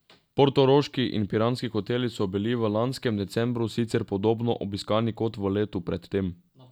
Portoroški in piranski hoteli so bili v lanskem decembru sicer podobno obiskani kot v letu pred tem.